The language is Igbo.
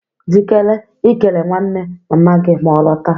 Jikere ikele nwanne mama gị ma ọ lọta.